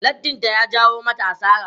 Lattin ta ya jawo mata asara.